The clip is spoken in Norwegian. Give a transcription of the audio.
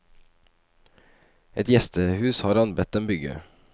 Et gjestehus har han bedt dem bygge.